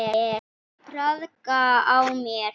Traðka á mér!